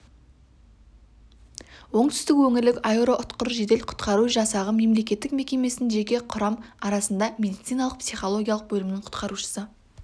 оңтүстік өңірлік аэроұтқыр жедел құтқару жасағы мемлекеттік мекемесінің жеке құрам арасында медициналық психологиялық бөлімінің құтқарушысы